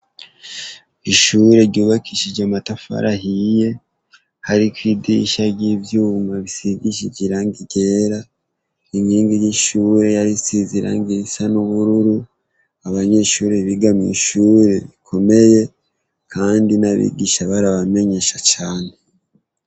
Ishure ryubakishije amatafari ahiye hariko idirisha ry' ivyuma risigishije irangi ryera inkingi y' ishure yarisize irangi isa n' ubururu abanyeshure biga mwishure rikomeye kandi n' abigisha barabamenyesha cane.